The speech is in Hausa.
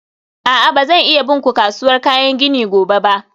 a'a, ba zan iya bin ku kasuwar kayan gini gobe ba.